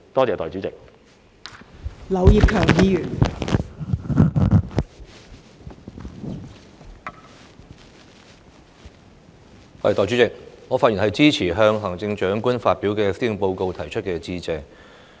代理主席，我發言支持就行政長官發表的施政報告提出的致謝動議。